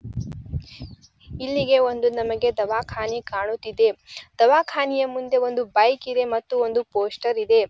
ಇಲ್ಲಿಗೆ ಒಂದು ನಮಿಗೆ ದಾವಕಾನೆ ಕಾಣುತಿದೆ. ದಾವಕಾನೆ ಮುಂದೆ ಒಂದು ಬೈಕ್ ಇದೆ ಮತ್ತು ಒಂದು ಪೋಸ್ಟರ್ ಇದೆ.